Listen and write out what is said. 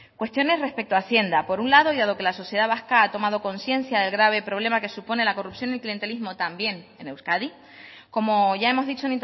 cuestiones respecto a hacienda por un lado y dado que la sociedad vasca ha tomado conciencia del grave problema que supone la corrupción del clientelismo también en euskadi como ya hemos dicho